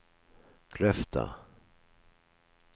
Kløfta